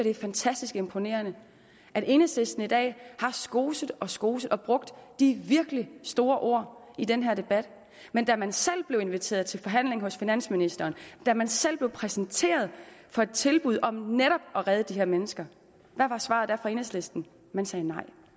er fantastisk imponerende at enhedslisten i dag har skoset og skoset og brugt de virkelig store ord i den her debat men da man selv blev inviteret til forhandling hos finansministeren da man selv blev præsenteret for et tilbud om netop at redde de her mennesker hvad var svaret da fra enhedlisten man sagde nej